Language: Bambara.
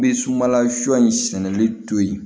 Bɛ sumala sɔ in sɛnɛli to yen